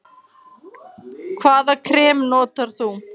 Hvaða krem notar þú?